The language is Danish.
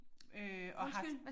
Øh og har